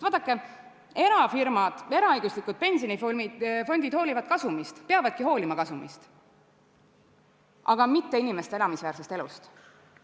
Vaadake, erafirmad, eraõiguslikud pensionifondid hoolivad kasumist ja peavadki hoolima kasumist, aga mitte inimeste elamisväärsest elust.